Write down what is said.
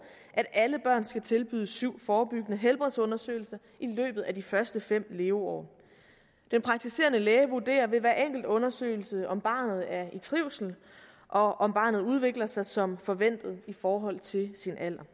at alle børn skal tilbydes syv forebyggende helbredsundersøgelser i løbet af de første fem leveår den praktiserende læge vurderer ved hver enkelt undersøgelse om barnet er i trivsel og om barnet udvikler sig som forventet i forhold til sin alder